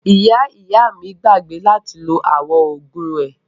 Ìyá ìyá mi gbàgbé láti lo àwọn oògùn rẹ̀.